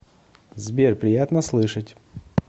сбер приятно слышать